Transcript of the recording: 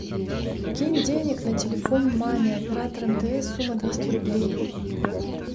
кинь денег на телефон маме оператор мтс сумма двести рублей